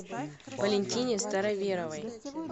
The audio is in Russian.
валентине староверовой